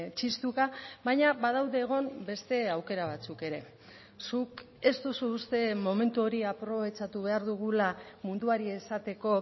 txistuka baina badaude egon beste aukera batzuk ere zuk ez duzu uste momentu hori aprobetxatu behar dugula munduari esateko